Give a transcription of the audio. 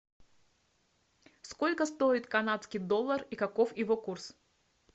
сколько стоит канадский доллар и каков его курс